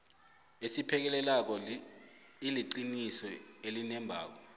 esiphekelelako iliqiniso elinembako